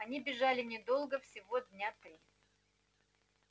они бежали недолго всего дня три